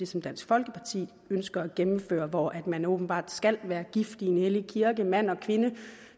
som dansk folkeparti ønsker at gennemføre er hvor man åbenbart skal være gift i en hellig kirke mand og kvinde